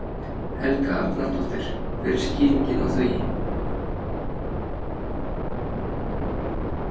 Helga Arnardóttir: Hver er skýringin á því?